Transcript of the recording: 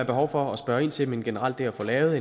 behov for at spørge ind til men generelt det at få lavet